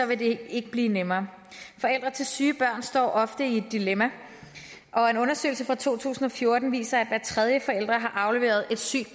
vil det ikke blive nemmere forældre til syge børn står ofte i et dilemma og en undersøgelse fra to tusind og fjorten viser at hver tredje forælder har afleveret et sygt